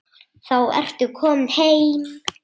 Þá ertu kominn heim.